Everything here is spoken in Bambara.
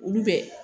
Olu bɛ